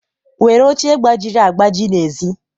were oche gbajiri agbaji n'èzí